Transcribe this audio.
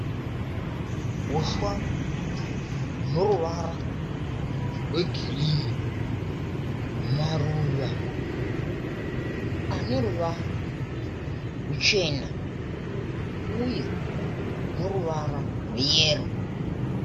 Huswa hune ruvara rwegirinhi. Maruva aneruvara ruchena uye neruvara rweyero.